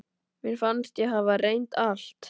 Mér fannst ég hafa reynt allt.